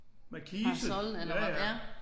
Parasol eller hvor ja